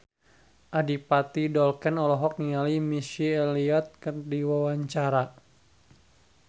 Adipati Dolken olohok ningali Missy Elliott keur diwawancara